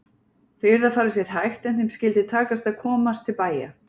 Þau yrðu að fara sér hægt en þeim skyldi takast að komast til bæja!